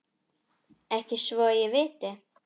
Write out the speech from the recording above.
Ekki svo ég viti.